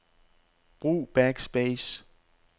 Brug backspace.